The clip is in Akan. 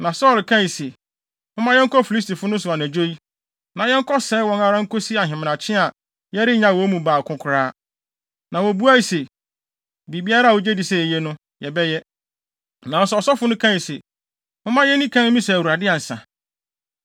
Na Saulo kae se, “Momma yɛnkɔ Filistifo no so anadwo yi, na yɛnkɔsɛe wɔn ara nkosi ahemadakye a yɛrennyaw wɔn mu baako koraa.” Na wobuae se, “Biribiara a wugye di sɛ eye no, yɛbɛyɛ.” Nanso ɔsɔfo no kae se, “Momma yenni kan mmisa Awurade ansa.”